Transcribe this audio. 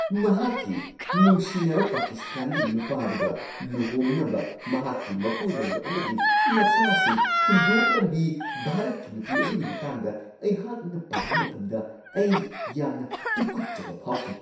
ꯃꯍꯥꯛꯀꯤ ꯅꯨꯡꯁꯤꯅꯕ ꯄꯀꯤꯁꯇꯥꯟꯒꯤ ꯅꯨꯄꯥꯗꯨꯒ ꯂꯨꯍꯣꯡꯅꯕ ꯃꯍꯥꯛꯀꯤ ꯃꯄꯨꯔꯣꯏꯕ ꯑꯃꯗꯤ ꯃꯆꯥꯁꯤꯡ ꯍꯨꯟꯗꯣꯛꯂꯝꯕꯤ ꯚꯥꯔꯠꯀꯤ ꯅꯨꯄꯤ ꯑꯗꯨꯒꯤ ꯃꯇꯥꯡꯗ ꯑꯩꯍꯥꯛꯅ ꯄꯥꯕ ꯃꯇꯝꯗ ꯑꯩ ꯌꯥꯝꯅ ꯇꯨꯀꯠꯆꯕ ꯐꯥꯎꯈꯤ ꯫